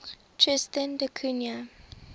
tristan da cunha